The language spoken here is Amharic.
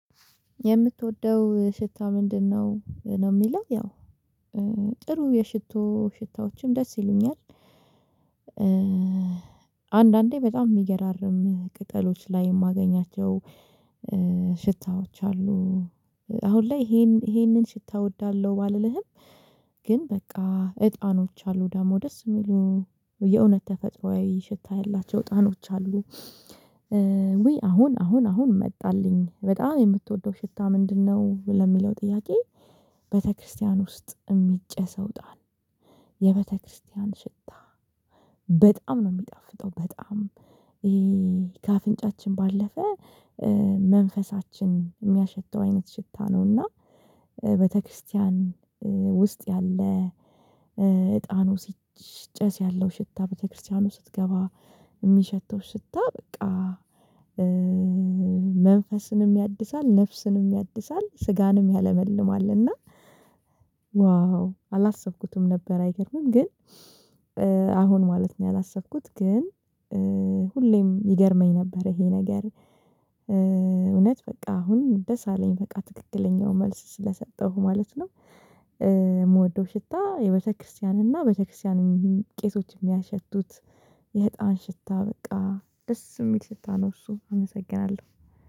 የምትወደው ሽታ ምንድነው? ነው የሚለው ያው ጥሩ የሽቶ ሽታዎችም ደስ ይሉኛል። አንዳንዴ በጣም የሚገራርም ቅጠሎች ላይ የማገኛቸው ሽታዎች አሉ አሁን ላይ ይሄንን ሽታ እወዳለሁ ባልልህም ግን በቃ እጣኖች አሉ ደግሞ ደስ የሚሉ የእውነት ተፈጥሮአዊ ሽታ ያላቸው እጣኖች አሉ ውይ አሁን አሁን አሁን መጣልኝ በጣም የምትወደው ሽታ ምንድነው ለሚለው ጥያቄ ቤተክርስቲያን ውስጥ የሚጨሰው እጣን የቤተክርስቲያን ሽታ በጣም ነው የሚጣፍጠው በጣም ከአፍንጫችን ባለፈ መንፈሳችን የሚያሸተው አይነት ሽታ ነው እና ቤተክርስቲያን ውስጥ ያለ እጣኑ ሲጨስ ያለው ሽታ ቤተክርስቲያኑ ስትገባ የሚሸተው ስታ በቃ መንፈስንም ያድሳል፣ ነፍስንም ያድሳል፣ ስጋንም ያለመልማል፣ እና ዋው አላሰብኩትም ነበር አይገርምም ግን አሁን ማለት ነው ያላሰብኩት ግን ሁሌም ይገርመኝ ነበር ይሄ ነገር እውነት በቃ አሁን ደስ አለኝ በቃ ትክክለኛውን መልስ ስለሰጠሁ ማለት ነው። የምወደው ሽታ የቤተክርስቲያን እና የቤተክርስቲያን ቄቶች የሚያሸቱት የህፃን ሽታ በቃ ደስ የሚል ሽታ ነው እሱ አመሰግናለሁ።